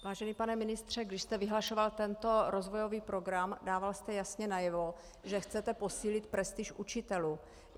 Vážený pane ministře, když jste vyhlašoval tento rozvojový program, dával jste jasně najevo, že chcete posílit prestiž učitelů.